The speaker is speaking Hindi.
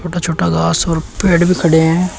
छोटा छोटा घास और पेड़ भी खड़े हैं।